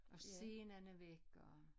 Og scenen er væk og